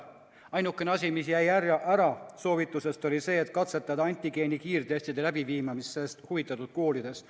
Ainuke asi, mida soovituste hulgas ei olnud, oli see, et katsetada antigeeni kiirtestide kasutamist sellest huvitatud koolides.